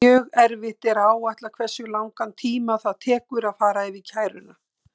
Mjög erfitt er að áætla hversu langan tíma það tekur að fara yfir kæruna.